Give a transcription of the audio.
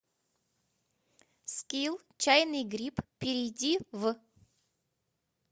скилл чайный гриб перейди в